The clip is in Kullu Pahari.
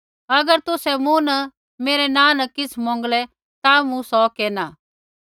अगर तुसै मूँ न मेरै नाँ न किछ़ मौंगलै ता मूँ सौ केरना